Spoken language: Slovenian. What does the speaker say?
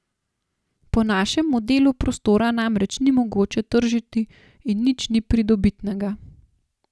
Po našem modelu prostora namreč ni mogoče tržiti in nič ni pridobitnega.